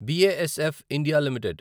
BASF India limited